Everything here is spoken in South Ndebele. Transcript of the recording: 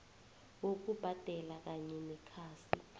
bokubhadela kanye nekhasi